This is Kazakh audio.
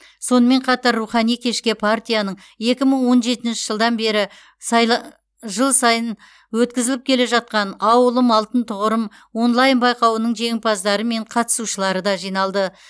сонымен қатар рухани кешке партияның екі мың он жетінші жылдан бері сайлы жыл сайын өткізіп келе жатқан ауылым алтын тұғырым онлайн байқауының жеңімпаздары мен қатысушылары да жиналды